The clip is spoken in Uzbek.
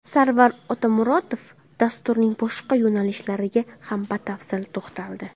Sarvar Otamuratov dasturning boshqa yo‘nalishlariga ham batafsil to‘xtaldi.